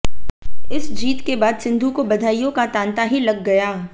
इस जीत के बाद सिंधु को बधाइयों का तांता ही लग गया